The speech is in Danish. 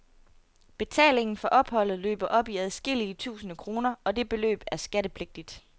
Betalingen for opholdet løber op i adskillige tusinde kroner, og det beløb er skattepligtigt.